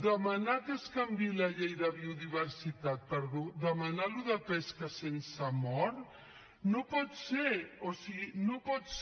demanar que es canviï la llei de biodiversitat per demanar això de la pesca sense mort no pot ser o sigui no pot ser